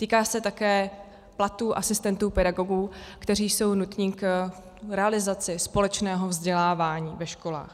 Týká se také platů asistentů pedagogů, kteří jsou nutní k realizaci společného vzdělávání ve školách.